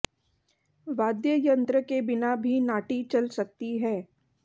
वाद्य यंत्र के बिना भी नाटी चल सकती है